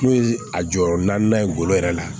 N'o ye a jɔyɔrɔ naaninan ye ngolo yɛrɛ la